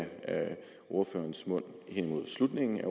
ordførerens mund hen imod slutningen af